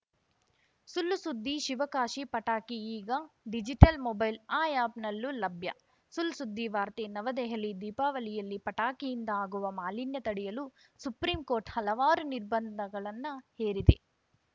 ಸುಳ್‌ ಸುದ್ದಿ ಶಿವಕಾಶಿ ಪಟಾಕಿ ಈಗ ಡಿಜಿಟಲ್‌ ಮೊಬೈಲ್‌ ಆ್ಯಪ್‌ನಲ್ಲೂ ಲಭ್ಯ ಸುಳ್‌ಸುದ್ದಿವಾರ್ತೆ ನವದೆಹಲಿ ದೀಪಾವಳಿಯಲ್ಲಿ ಪಟಾಕಿಯಿಂದ ಆಗುವ ಮಾಲಿನ್ಯ ತಡೆಯಲು ಸುಪ್ರೀಂಕೋರ್ಟ್‌ ಹಲವಾರು ನಿರ್ಬಂಧಗಳನ್ನ ಹೇರಿದೆ